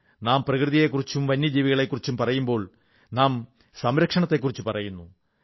നാം പ്രകൃതിയെക്കുറിച്ചും വന്യജീവികളെക്കുറിച്ചും പറയുമ്പോൾ നാം സംരക്ഷണത്തെക്കുറിച്ചു പറയുന്നു